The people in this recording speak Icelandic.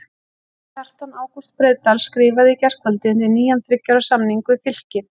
Kjartan Ágúst Breiðdal skrifaði í gærkvöldi undir nýjan þriggja ára samning við Fylki.